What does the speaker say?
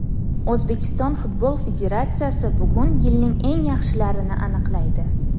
O‘zbekiston Futbol Federatsiyasi bugun yilning eng yaxshilarini aniqlaydi.